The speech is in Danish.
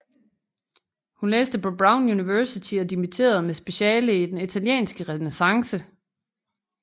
Hun læste på Brown University og dimitterede med speciale i den italienske renæssance